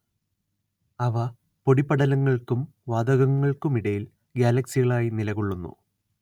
അവ പൊടിപടലങ്ങൾക്കും വാതകങ്ങൾക്കുമിടയിൽ ഗ്യാലക്സികളായി നിലകൊള്ളുന്നു